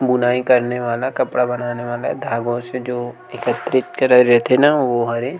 बुनाई करने वाला कपड़ा बनाने वाला धागो से जो एकत्रित करे रथे न वो हवे--